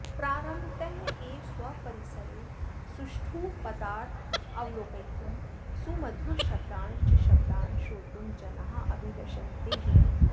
प्रारम्भतः एव स्वपरिसरे सुष्ठुपदार्थानवलोकयितुं सुमधुरशब्दांश्च शब्दान् श्रोतुं जनाः अभिलषन्तः जीवन्ति